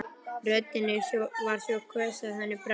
Röddin var svo hvöss að henni brá í brún.